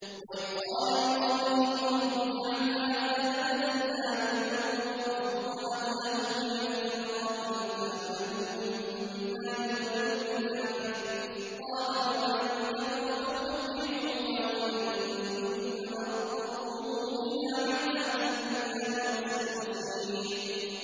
وَإِذْ قَالَ إِبْرَاهِيمُ رَبِّ اجْعَلْ هَٰذَا بَلَدًا آمِنًا وَارْزُقْ أَهْلَهُ مِنَ الثَّمَرَاتِ مَنْ آمَنَ مِنْهُم بِاللَّهِ وَالْيَوْمِ الْآخِرِ ۖ قَالَ وَمَن كَفَرَ فَأُمَتِّعُهُ قَلِيلًا ثُمَّ أَضْطَرُّهُ إِلَىٰ عَذَابِ النَّارِ ۖ وَبِئْسَ الْمَصِيرُ